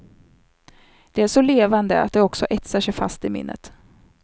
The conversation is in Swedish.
De är så levande att de också etsar sig fast i minnet.